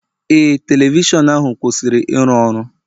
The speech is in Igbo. Ee, telivishọn ahu kwụsịrị ịrụ ọrụ.